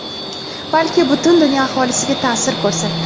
balki butun dunyo aholisiga ta’sir ko‘rsatdi.